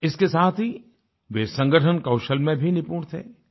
इसके साथ ही वे संगठन कौशल में भी निपुण थे